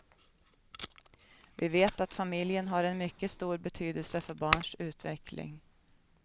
Vi vet att familjen har en mycket stor betydelse för barns utveckling.